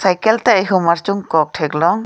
cycle ta ihum archung kok thek long.